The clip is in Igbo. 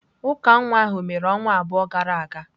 Uka nwa ahụ mere ọnwa abụọ gara aga.